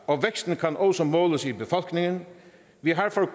og væksten kan også måles i befolkningen vi har for